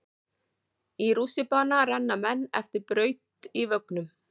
Í rússíbana renna menn eftir braut í vögnum.